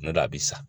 Ne don a bi sa